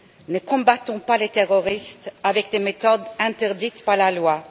Ne combattons pas les terroristes avec des méthodes interdites par la loi.